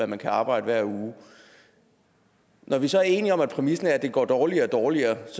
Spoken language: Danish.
man kan arbejde hver uge når vi så er enige om at præmissen er at det går dårligere og dårligere